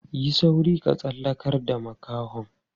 Yi sauri ka tsallakar da makahon.